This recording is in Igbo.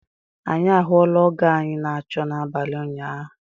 Anyi ahụla ọgo anyị na achọ n'abali ụnyaahụ